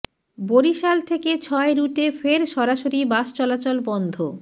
বরিশাল থেকে ছয় রুটে ফের সরাসরি বাস চলাচল বন্ধ